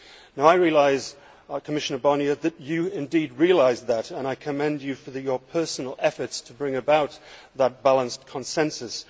Now I know, Commissioner Barnier, that you indeed realise that and I commend you for your personal efforts to bring about that balanced consensus.